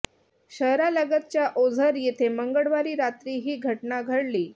शहरालगतच्या ओझर येथे मंगळवारी रात्री ही घटना घडली